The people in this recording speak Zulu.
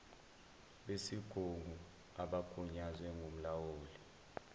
besigungu abagunyazwe ngumlawuli